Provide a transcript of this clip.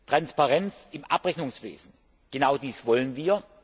Transparenz im Abrechnungswesen genau dies wollen wir.